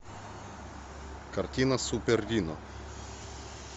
картина супер рино